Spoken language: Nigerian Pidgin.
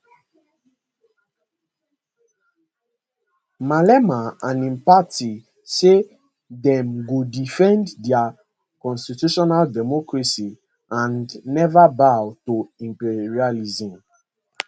malema and im party say dem go defend dia constitutional democracy and neva bow to imperialism